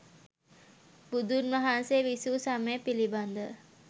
බුදුන් වහන්සේ විසු සමය පිළිබඳ ව